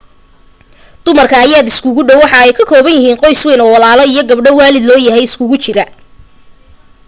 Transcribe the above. dumarkan ayaa aad iskugu dhaw waxa ay ka kooban yihiin qoys weyn oo walaalo iyo gabdha waalid loo yahay iskugu jira